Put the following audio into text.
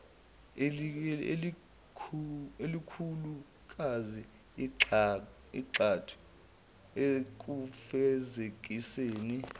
elikhulukazi igxathu ekufezekiseni